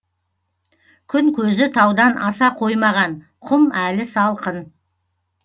күн көзі таудан аса қоймаған құм әлі салқын